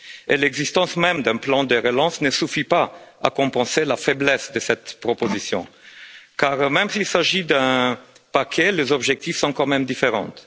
et l'existence même d'un plan de relance ne suffit pas à compenser la faiblesse de cette proposition car même s'il s'agit d'un paquet, les objectifs sont quand même différents.